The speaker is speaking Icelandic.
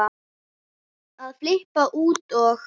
að flippa út og